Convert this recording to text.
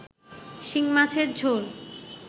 শিংমাছের ঝোল